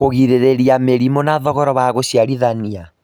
Kũgirĩrĩria mĩrimũ na thogora wa gũciarithania